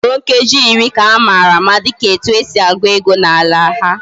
Usoro nkeji iri ka amara ama dika etu esi egu ego na ala ha